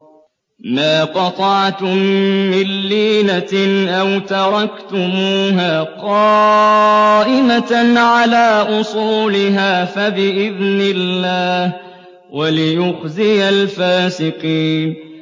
مَا قَطَعْتُم مِّن لِّينَةٍ أَوْ تَرَكْتُمُوهَا قَائِمَةً عَلَىٰ أُصُولِهَا فَبِإِذْنِ اللَّهِ وَلِيُخْزِيَ الْفَاسِقِينَ